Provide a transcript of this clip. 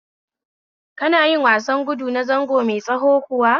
Kana yin wasar gudu na zango mai tsawo kuwa?